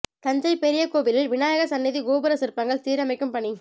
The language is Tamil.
தஞ்சை பெரிய கோவிலில் விநாயகர் சன்னதி கோபுர சிற்பங்கள் சீரமைக்கும் பணி